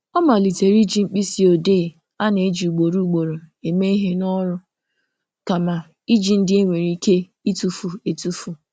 Ọ malitere iji mkpịsị odee a na-eji ugboro ugboro eme ihe n'ọrụ kama iji ndị e nwere ike ịtufu etufu